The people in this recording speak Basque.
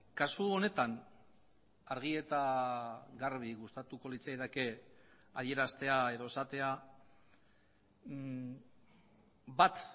kasu honetan argi eta garbi gustatuko litzaidake adieraztea edo esatea bat